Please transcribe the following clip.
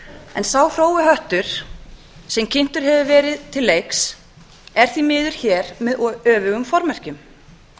en sá hrói höttur sem kynntur hefur verið til leiks er því miður hér með öfugum formerkjum